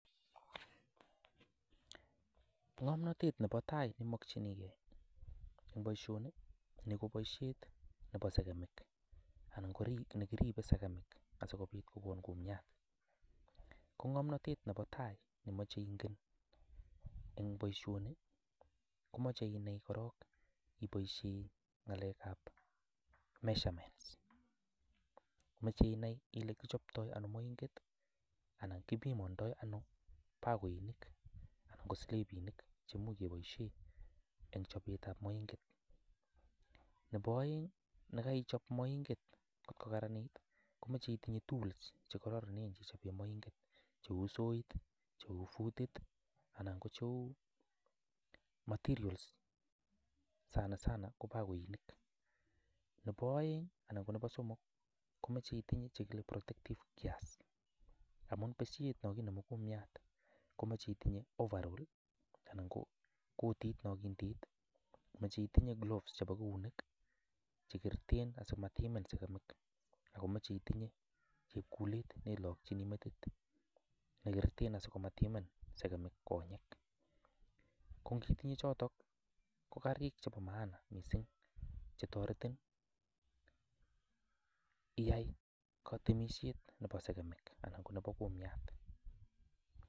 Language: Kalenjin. Ng'omnotet nepo tai neimokchinigei eng boishoni, ni ko boishet nepo sekemik anan ko nekiribe sekemik asikobit kokon kumyat. Ko ng'omnotet nepo tai nemoche ingen eng boishoni komoche inai korok iboishe ng'alekap measurements. Meche inai ile kichoptoi ano moinket anan kipimandoi ano paoinik anan ko slipinik cheimuch keboishe eng chopetap moinget. Nepo oeng nekaichop moinket nkot kokaranit komeche itinye tools chekaroronen cheichope moinket cheu soit, cheu futit anan ko. Materials sana nana ko paoinik. Nepo oeng anan ko nepo somok komeche itinye chekile protective gears amun beshet nokinemu kumiat komeche itinye overall anan ko kotit. Meche itinye gloves chepo keunek chekiroten asimatimin sekemik akomeche itinye chepkulet neilokchini metit neiketree asimatimin sekemik konyek. Ko nkitinye chotok ko karik chepo maana mising chetoretin iai katemishet nepo sekemik anan ko nepo kumiat.